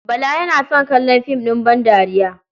Bala yana son kallon fim ɗin bandariya.